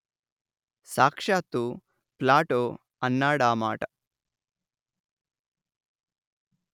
సాక్షాత్తూ Plato అన్నాడా మాట